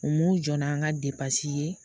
U m'u jɔ n'an ka depansi ye